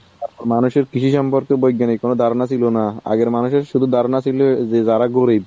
মানুষের কৃষি সম্পর্ক বৈজ্ঞানিক কোনো ধারণা ছিল না। আবার মানুষের শুধু ধারণা ছিল এই যে যারা গরিব